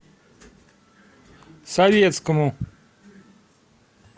советскому